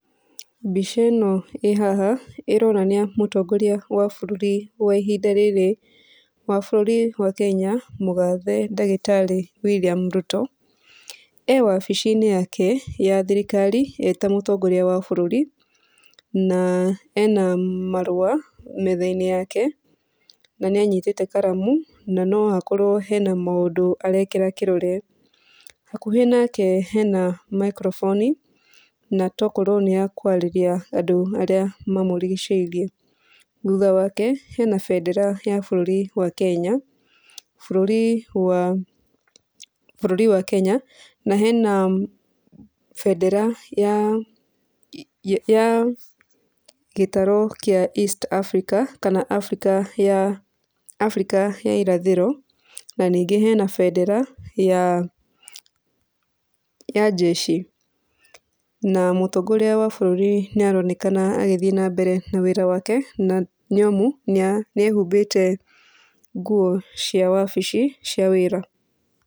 Mbica ĩno ĩ haha ĩronania mũtongoria wa bũrũri wa ihinda rĩrĩ wa bũrũri wa Kenya mũgathe ndagĩtarĩ William Ruto. E wabici-inĩ yake ya thirikari eta mũtongoria wa bũrũri na ena marũa metha-inĩ yake, na nĩanyitĩte karamu na noakorwo hena maũndũ arekĩra kĩrore. Hakuhĩ nake hena microphone na tokorwo nĩ yakwarĩria andũ arĩa mamũrigicĩirie. Thutha wake, hena bendera ya bũrũri wa Kenya, bũrũri wa, bũrũri wa Kenya na hena bendera ya, ya, gĩtaru kĩa east africa kana africa ya, africa ya irathĩro, na ningĩ hena bendera ya, ya jeshi. Na mũtongoria wa bũrũri nĩ aronekana agĩthiĩ na mbere na wĩra wake na nĩ amu nĩa, nĩ ehumbĩte nguo cia wabici cia wĩra.